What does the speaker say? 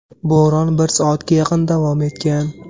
Bo‘ron bir soatga yaqin davom etgan.